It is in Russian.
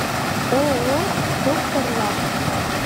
ооо докторлаб